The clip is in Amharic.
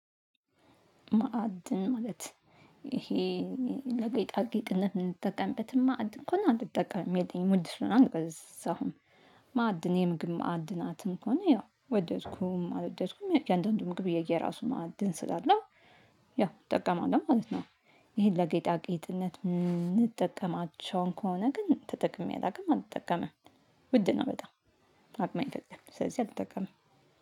ማዕድን ማለት ይሄ ለጌጣጌጥነት የምንጠቀምበትን ማዕድን ከሆነ አልጠቀምም የለኝም ውድ ስለሆነ አልገዛሁም ማዕድን የምግብ ማዕድናትን ከሆነ ያው ወደድኩም አልወደድኩም እያንዳንዱ ምግብ የየራሱ ማዕድን ስላለው ያው እጠቀማለሁ ማለት ነው። ይሄን ለጌጣጌጥነት የምንጠቀማቸውን ከሆነ ግን ተጠቅሜ አላውቅም አልጠቀምም ውድ ነው በጣም አቅሜ አይፈቅድም ስለዚህ አልጠቀምም